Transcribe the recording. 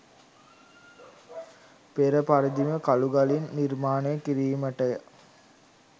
පෙරපරිදිම කලුගලින් නිර්මාණය කිරීමටය.